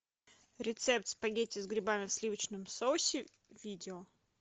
рецепт спагетти с грибами в сливочном соусе видео